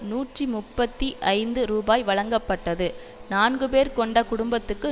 நூற்றி முப்பத்தி ஐந்து ரூபாய் வழங்கப்பட்டது நான்கு பேர் கொண்ட குடும்பத்துக்கு